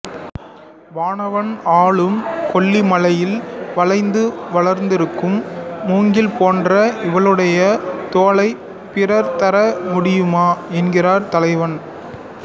வானவன் ஆளும் கொல்லிமலையில் வளைந்து வளர்ந்திருக்கும் மூங்கில் போன்ற இவளுடைய தோளைப் பிறர் தர முடியுமா என்கிறான் தலைவன்